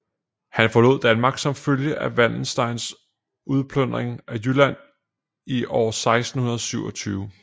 Han forlod Danmark som følge af Wallensteins udplyndring af Jylland i år 1627